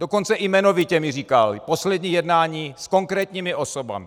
Dokonce i jmenovitě mi říkal poslední jednání s konkrétními osobami.